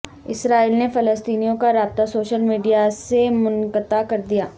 اسرائیل نے فلسطینیوں کا رابطہ سوشل میڈیا سے منقطع کر دیا